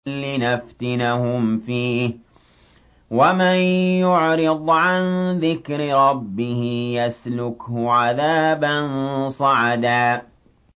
لِّنَفْتِنَهُمْ فِيهِ ۚ وَمَن يُعْرِضْ عَن ذِكْرِ رَبِّهِ يَسْلُكْهُ عَذَابًا صَعَدًا